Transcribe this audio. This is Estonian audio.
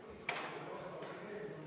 V a h e a e g